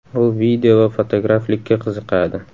U video va fotograflikka qiziqadi.